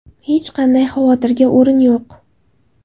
Hech qanday xavotirga o‘rin yo‘q.